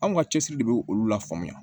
Anw ka cɛsiri de bɛ olu la faamuya